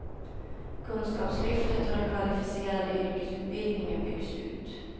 Kunskapslyftet och den kvalificerade yrkesutbildningen byggs ut.